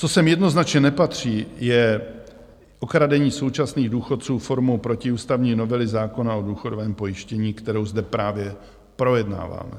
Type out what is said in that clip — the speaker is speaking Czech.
Co sem jednoznačně nepatří, je okradení současných důchodců formou protiústavní novely zákona o důchodovém pojištění, kterou zde právě projednáváme.